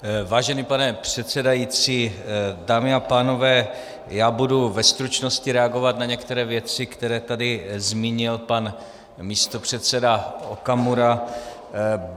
Vážený pane předsedající, dámy a pánové, já budu ve stručnosti reagovat na některé věci, které tady zmínil pan místopředseda Okamura.